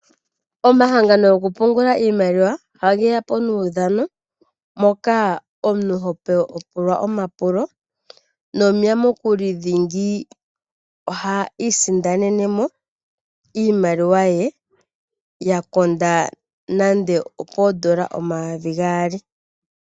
Omahangano goku pungula iimaliwa oha geya po nuudhano, moka omuntu hopulwa omapulo nomuyamukuli dhingi oha isindanene mo iimaliwa ye ya konda nande opoondola omayovi gaali.